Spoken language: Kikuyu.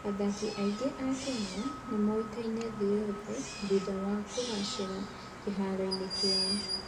Athaki aingĩ a Kenya nĩ moĩkaine thĩ yothe thutha wa kũgacĩra kĩharo-inĩ kĩao.